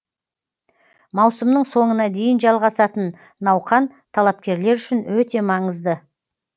маусымның соңына дейін жалғасатын науқан талапкерлер үшін өте маңызды